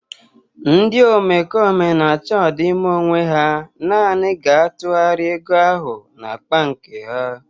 Ndị omekome na-achọ ọdịmma onwe ha nanị ga-atụgharị ego ahụ n'akpa nke ha